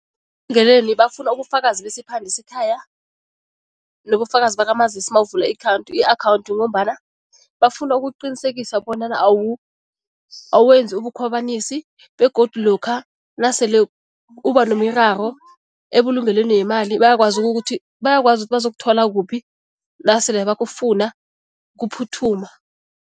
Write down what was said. bafuna ubufakazi besiphande sekhaya nobufakazi bakamazisi mawuvula i-akhawundi ngombana bafuna ukuqinisekisa bonyana awenzi ubukhwabanisi begodu lokha nasele kuba nemiraro ebulungelweni yemali , bayakwazi ukuthi bazakuthola kuphi nasele bakufuna, kuphuthuma.